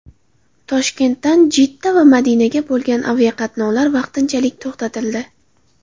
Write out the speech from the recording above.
Toshkentdan Jidda va Madinaga bo‘lgan aviaqatnovlar vaqtinchalik to‘xtatildi.